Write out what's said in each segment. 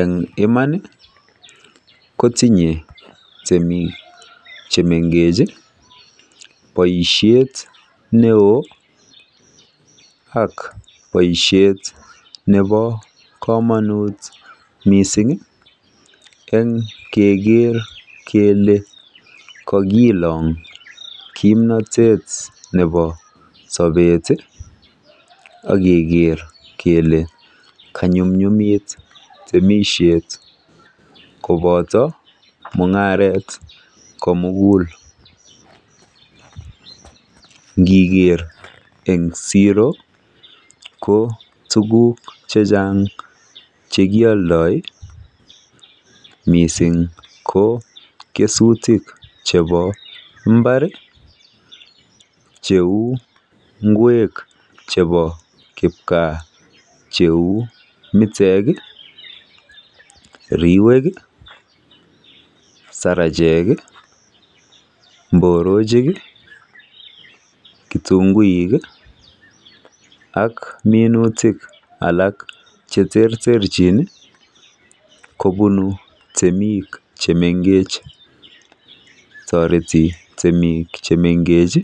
Eng iman kototinyei temik chemengech boishet neo ak boishet nebo komanut mising eng keker kele kakiilong kimnatet nebo sobet ak keker kele kanyumnyumit temishet kobota mung'aret komugul. Ngiker eng siro ko tukuk chechang chekialdoi mising ko kesutik chebo mba,r cheu ng'wek chebo kipgaa. Cheu mitek, riwek, sarache,k mborochik, kitunguik ak minutik alak cheterterchin kobun temik chemengech. Toreti temik chemengech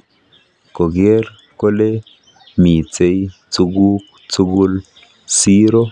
koker kole mito tukuk tukul chemakat eng siro.